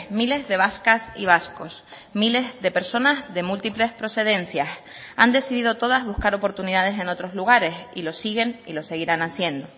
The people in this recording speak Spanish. miles de vascas y vascos miles de personas de múltiples procedencias han decidido todas buscar oportunidades en otros lugares y lo siguen y lo seguirán haciendo